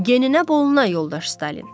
Geninə boluna, yoldaş Stalin.